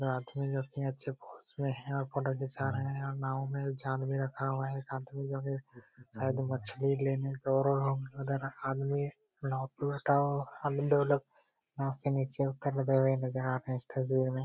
एक आदमी जो कि अच्छे पोज में है और फोटो खींचा रहे हैं। और नाव में जाल भी रखा हुआ है। एक आदमी जो कि साइड में मछली लेने आदमी नाव पे बैठा हुआ। अभी दो लोग यहां से नीचे उतर रहे ।